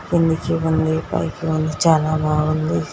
కిన్ ని కియే పైకి ఉంది చాలా బాగుంది.